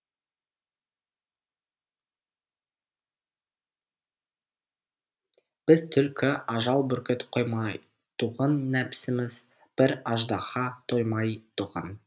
біз түлкі ажал бүркіт қоймайтұғын нәпсіміз бір аждаһа тоймайтұғын